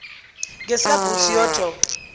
ngesikabrusciotto